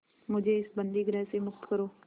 मुझे इस बंदीगृह से मुक्त करो